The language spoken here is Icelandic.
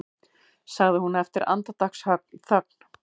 sagði hún eftir andartaksþögn.